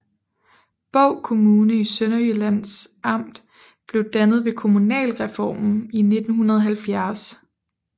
Bov Kommune i Sønderjyllands Amt blev dannet ved kommunalreformen i 1970